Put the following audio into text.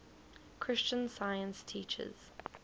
christian science teaches